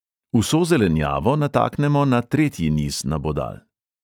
Vso zelenjavo nataknemo na tretji niz nabodal.